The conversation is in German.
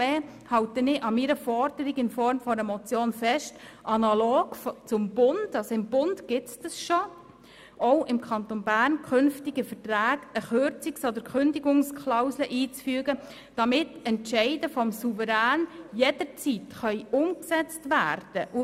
Deshalb halte ich an meiner Forderung in Form einer Motion fest, künftig bei Verträgen analog zur heutigen Praxis des Bundes auch im Kanton Bern eine Kürzungs- oder Kündigungsklausel einzufügen, damit Entscheide des Souveräns jederzeit umgesetzt werden können.